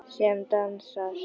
Sem dansar.